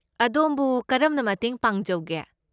ꯑꯗꯣꯝꯕꯨ ꯀꯔꯝꯅ ꯃꯇꯦꯡ ꯄꯥꯡꯖꯧꯒꯦ?